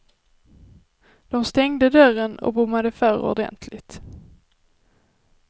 Dom stängde dörren och bommade för ordentligt.